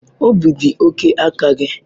Obi dị oke aka gị.